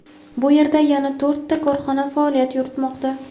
Bu yerda yana to‘rtta korxona faoliyat yuritmoqda.